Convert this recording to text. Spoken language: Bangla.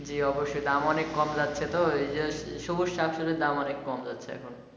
জি অবশ্যই দাম অনেক কম লাগছে তো ওই যে সবুজ শাকসবজির দাম অনেক কম যাচ্ছে এখন।